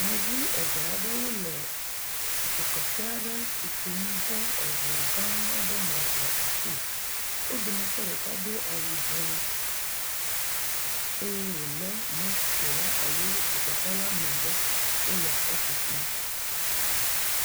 Yevu eve aɖewo le dzokeke aɖe tutum de eŋu gã aɖe me le afii, wo dometɔ ɖeka do awu dzɛ eye wòlé moto alo dzokeke la megbe, wole etutum